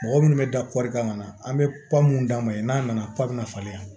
Mɔgɔ minnu bɛ da kan ka na an bɛ pa minnu d'a ma ye n'a nana pan bɛ na falen